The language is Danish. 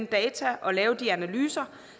data og lave de her analyser